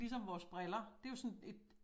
Ligesom vores briller det jo sådan et